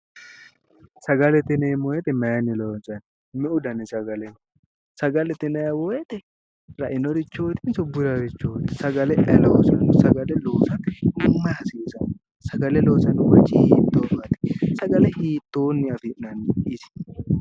sagalete yineemmo woyite mayinni loonsanni meu dani sagale no sagalete yinayi weete rainoreettinsso burarichootti sagalete loosino sagale loossate mayi hasiissano sagale loossanno manichi hitoowaat sagale hitoonni afi'nanni isi